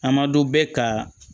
A ma dɔn bɛ ka